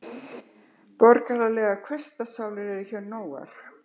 Borgaralegar hversdagssálir eru hér nógar.